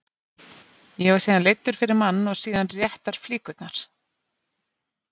Ég var síðan leiddur fyrir mann og síðan réttar flíkurnar.